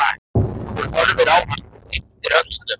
Hún horfir á hann og ypptir öxlum.